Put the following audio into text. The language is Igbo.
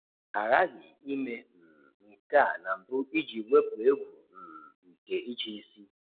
A ghaghị ime um nke a na mbụ iji wepụ egwu um nke ịchịisi